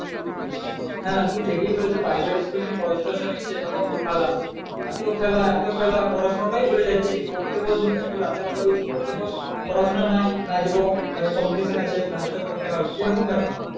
হ্যাঁ তুই ঠিকই বলেছিস private school এ যেমন পয়সা টয়সা নিচ্ছে যেরকম খেলা এত খেলা এত খেলা পড়াশোনাটাই ভুলে যাচ্ছে যে পড়তে বসবে একটু রাতের বেলায় বলছি পড়তে বস পড়াশোনা নাই নাচবো মানে competition আছে। নাচ তো করতে হবে এরকম ব্যাপার।